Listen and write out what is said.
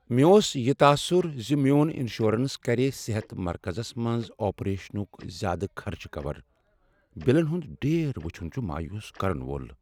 مےٚ اوس یہ تاثر ز میون انشورنس کر صحت مرکزس منٛز آپریشنک زیادٕ خرچہٕ کور۔ بلن ہنٛد ڈیر وٕچھن چھ مایوس کرن وول۔